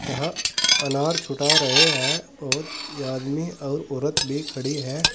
यहां अनार छुटा रहे हैं और ये आदमी और औरत भी खड़ी हैं।